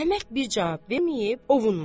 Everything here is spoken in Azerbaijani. Əhməd bir cavab verməyib ovunmadı.